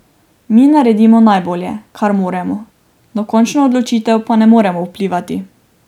Mi naredimo najbolje, kar moremo, na končno odločitev pa ne moremo vplivati.